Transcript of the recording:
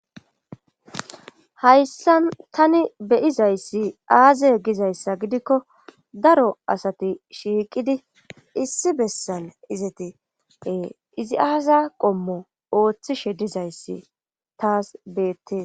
hayssan tani beyizayssi aaze gizayssa gidikko daro asati shiiqidi issi bessal izatie izi aaza qommo ooththishe dizayssi taas beettee